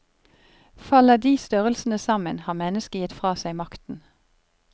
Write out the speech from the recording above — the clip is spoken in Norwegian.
Faller de størrelsene sammen, har mennesket gitt fra seg makten.